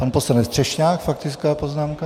Pan poslanec Třešňák faktická poznámka.